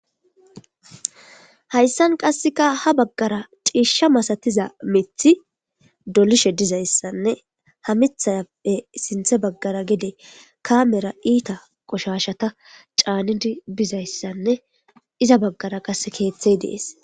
hayssan qasseka ha baggara ciishsha masatiza mithi dolishe dizayssanne ha mithappe sinthe baggara gede kamera iita qoshashata caanidi bizayssanne iza baggara qase keeththey dees